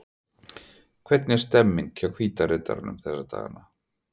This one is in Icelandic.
Hvernig er stemmningin hjá Hvíta riddaranum þessa dagana?